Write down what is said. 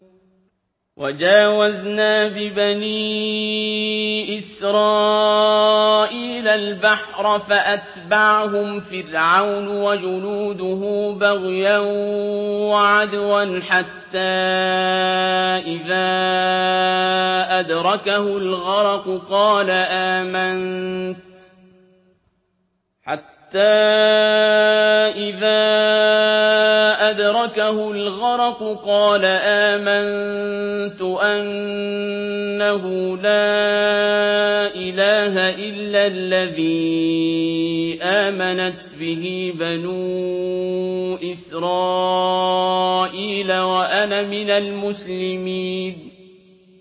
۞ وَجَاوَزْنَا بِبَنِي إِسْرَائِيلَ الْبَحْرَ فَأَتْبَعَهُمْ فِرْعَوْنُ وَجُنُودُهُ بَغْيًا وَعَدْوًا ۖ حَتَّىٰ إِذَا أَدْرَكَهُ الْغَرَقُ قَالَ آمَنتُ أَنَّهُ لَا إِلَٰهَ إِلَّا الَّذِي آمَنَتْ بِهِ بَنُو إِسْرَائِيلَ وَأَنَا مِنَ الْمُسْلِمِينَ